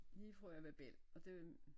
Lige fra jeg var bæll og det